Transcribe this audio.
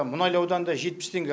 мұнайлы ауданында жетпіс теңге